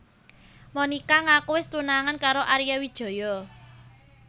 Monica ngaku wis tunangan karo Arya Wijaya